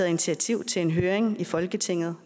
initiativ til en høring i folketinget